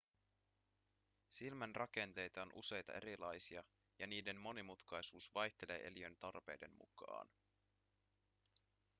silmän rakenteita on useita erilaisia ja niiden monimutkaisuus vaihtelee eliön tarpeiden mukaan